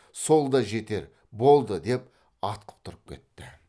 сол да жетер болды деп атқып тұрып кетті